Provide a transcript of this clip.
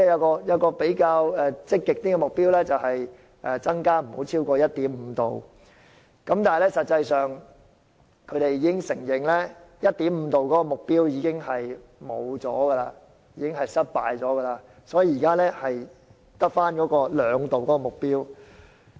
另一比較積極的目標是增加不超過 1.5℃， 但他們承認 1.5℃ 的目標實際已經失敗，所以現時只餘下 2℃ 的目標。